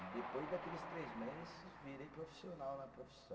E depois daqueles três meses, virei profissional na profissão.